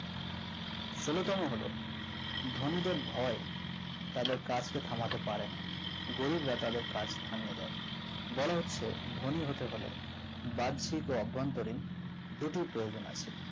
ষোলো তম হলো ধনীদের ভয় তাদের কাজকে কমাতে পারেনা গরিবের কাজ থামিয়ে দেয় বলা হচ্ছে ধনী হতে হলে বাহ্যিক ও অভ্যন্তরীণ দুটি প্রয়োজন আছে